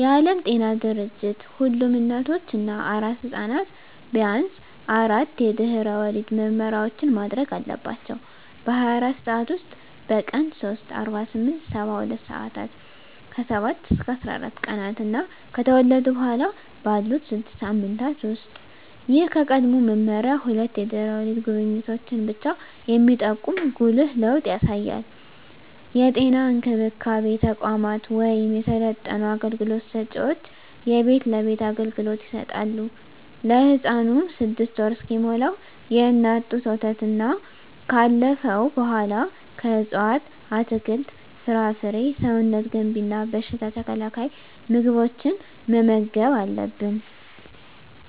የዓለም ጤና ድርጅት ሁሉም እናቶች እና አራስ ሕፃናት ቢያንስ አራት የድህረ ወሊድ ምርመራዎችን ማድረግ አለባቸው - በ24 ሰዓት ውስጥ፣ በቀን 3 (48-72 ሰአታት)፣ ከ7-14 ቀናት እና ከተወለዱ በኋላ ባሉት 6 ሳምንታት ውስጥ። ይህ ከቀድሞው መመሪያ ሁለት የድህረ ወሊድ ጉብኝቶችን ብቻ የሚጠቁም ጉልህ ለውጥ ያሳያል። የጤና እንክብካቤ ተቋማት ወይም የሰለጠኑ አገልግሎት ሰጭዎች የቤት ለቤት አገልግሎት ይሰጣሉ። ለህፃኑም 6ወር እስኪሞላው የእናት ጡት ወተትና ካለፈው በኃላ ከእፅዋት አትክልት፣ ፍራፍሬ ሰውነት ገንቢ እና በሽታ ተከላካይ ምግቦችን መመገብ አለብን